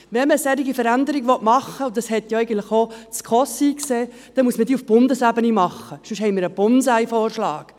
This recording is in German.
Wenn man eine solche Veränderung machen will – und das hat auch die SKOS eingesehen –, dann muss man diese auf Bundesebene machen, sonst haben wir einen Bonsai-Vorschlag.